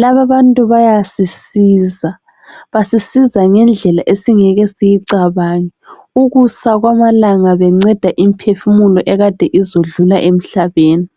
Lababantu bayasisiza. Basisiza ngendlela esingeke siyecabange. Ukusa kwamalanga banceda imphefumulo ekade izodlula emhlabeni.